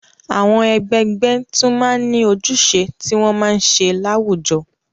Àwọn ẹgbẹgbẹ́ tún máa ń ní ojúṣe tí wọ́n máa ń ṣe láwùjọ.